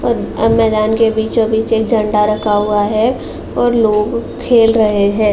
मेदान के बीचों बीच एक झण्डा रखा हुआ है और लोग खेल रहे हैं।